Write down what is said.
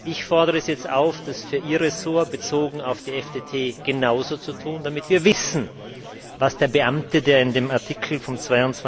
Ich fordere Sie jetzt auf, das für Ihr Ressort bezogen auf die FTT genauso zu tun, damit wir wissen, was der Beamte, der in dem Artikel im Standard vom